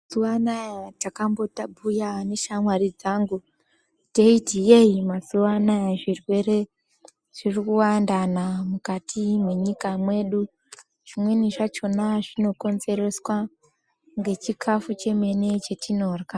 Mazuwa anaya takamboti tabhuya neshamwari dzangu teiti yeyi mazuanaya zvirwere zviri kuwandana mukati mwenyika mwedu zvimweni zvachona zvinokonzereswa ngechikafu chemene chatinorya .